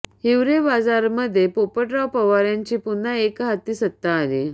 हिवरेबाजारमध्ये पोपटराव पवार यांची पुन्हा एकहाती सत्ता आली